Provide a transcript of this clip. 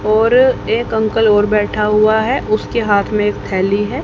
और एक अंकल और बैठा हुआ है उसके हाथ में एक थैली है।